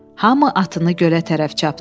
Hamı atını gölə tərəf çapdı.